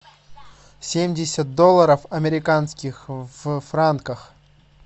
семьдесят долларов американских в франках